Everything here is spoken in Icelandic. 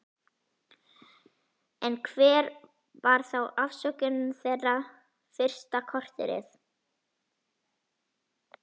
En hver var þá afsökunin þeirra fyrsta korterið?